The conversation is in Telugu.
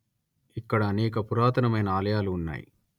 ఇక్కడ అనేక పురాతనమైన ఆలయాలు ఉన్నాయి